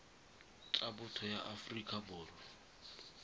tsa botho ya aforika borwa